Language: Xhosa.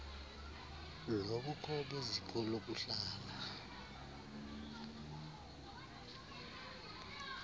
lobukho beziko lokuhlala